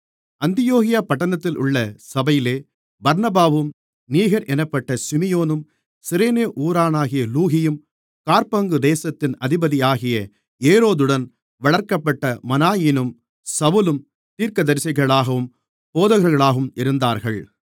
அந்தியோகியா பட்டணத்திலுள்ள சபையிலே பர்னபாவும் நீகர் என்னப்பட்ட சிமியோனும் சிரேனே ஊரானாகிய லூகியும் காற்பங்கு தேசத்தின் அதிபதியாகிய ஏரோதுடன் வளர்க்கப்பட்ட மனாயீனும் சவுலும் தீர்க்கதரிசிகளாகவும் போதகர்களாகவும் இருந்தார்கள்